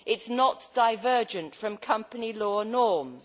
It is not divergent from company law norms.